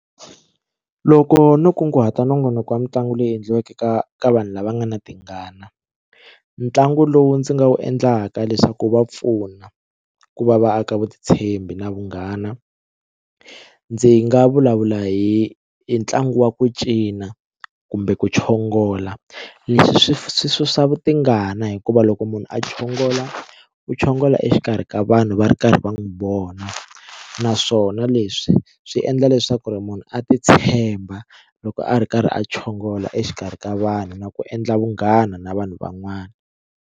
Loko no kunguhata nongonoko wa mitlangu leyi endliweke ka ka vanhu lava nga na tingana ntlangu lowu ndzi nga wu endlaka leswaku wu va pfuna ku va va aka vutitshembi na vunghana ndzi nga vulavula hi ntlangu wa ku cina kumbe ku chongola leswi swi swi swi swa vu tingana hikuva loko munhu a chongola u chongola exikarhi ka vanhu va ri karhi va n'wi vona naswona leswi swi endla leswaku ri munhu a ti tshemba loko a ri karhi a chongola exikarhi ka vanhu na ku endla vunghana na vanhu van'wana.